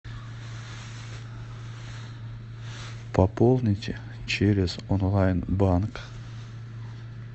пополните через онлайн банк